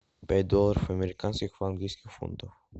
пять долларов американских в английских фунтах